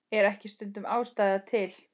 Er ekki stundum ástæða til?